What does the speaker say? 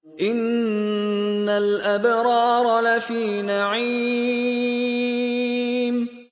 إِنَّ الْأَبْرَارَ لَفِي نَعِيمٍ